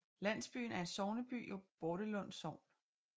Landsbyen er sogneby i Bordelum Sogn